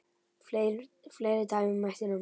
Fleiri dæmi mætti nefna.